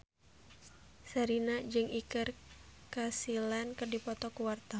Sherina jeung Iker Casillas keur dipoto ku wartawan